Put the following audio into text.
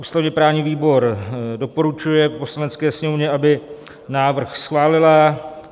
Ústavně-právní výbor doporučuje Poslanecké sněmovně, aby návrh schválila;